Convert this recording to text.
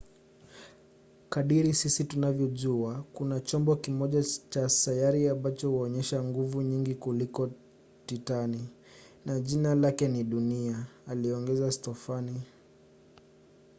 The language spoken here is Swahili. kadiri sisi tunavyojua kuna chombo kimoja cha sayari ambacho huonyesha nguvu nyingi kuliko titani na jina lake ni dunia,” aliongeza stofan